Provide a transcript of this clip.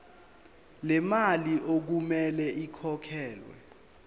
lemali okumele ikhokhelwe